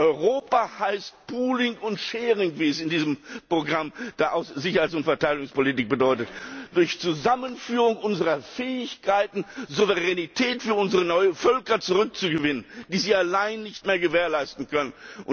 Europa heißt pooling und sharing wie es in diesem Programm der Sicherheits und Verteidigungspolitik heißt. Durch Zusammenführung unserer Fähigkeiten Souveränität für unsere neuen Völker zurückzugewinnen, die sie allein nicht mehr gewährleisten können.